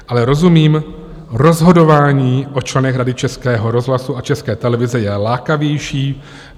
Ale rozumím, rozhodování o členech Rady Českého rozhlasu a České televize je lákavější.